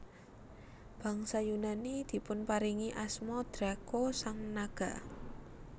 Bangsa Yunani dipunparingi asma Draco sang naga